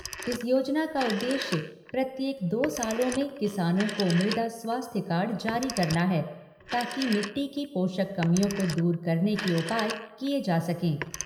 इस योजना का उद्देश्य प्रत्येक दो सालों में किसानों को मृदा स्वास्थ्य कार्ड जारी करना है ताकि मिट्टी की पोषक कमियों को दूर करने के उपाय किए जा सके।